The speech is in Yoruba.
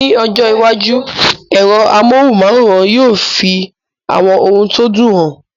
Ní ọjọ́ iwájú, ẹ̀rọ amóhùnm'áwòrán yóò fi àwọn ohun tó dùn hàn